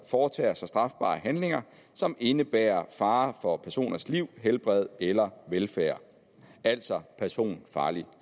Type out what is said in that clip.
foretager sig strafbare handlinger som indebærer fare for personers liv helbred eller velfærd altså personfarlig